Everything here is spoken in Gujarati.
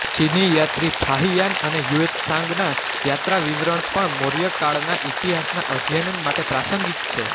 ચીની યાત્રી ફાહિયાન અને હુએનત્સાંગના યાત્રા વિવરણ પણ મૌર્ય કાળના ઇતિહાસના અધ્યયન માટે પ્રાંસંગિક છે